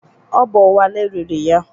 Ọ bụ Wale riri ya.